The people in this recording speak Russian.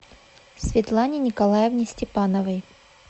светлане николаевне степановой